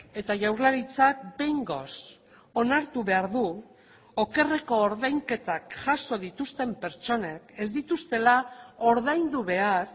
eta jaurlaritzak behingoz onartu behar du okerreko ordainketak jaso dituzten pertsonek ez dituztela ordaindu behar